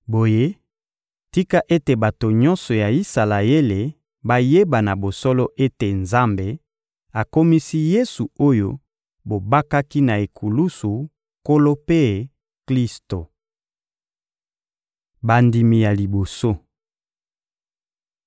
Boye, tika ete bato nyonso ya Isalaele bayeba na bosolo ete Nzambe akomisi Yesu oyo bobakaki na ekulusu Nkolo mpe Klisto. Bandimi ya liboso